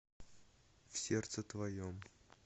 в сердце твоем